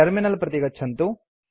terminal प्रति गच्छन्तु